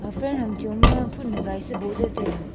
Aga fram ham cho ma phul hagai boh ley taiga.